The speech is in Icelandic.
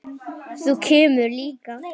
Þú kemur líka.